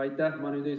Aitäh!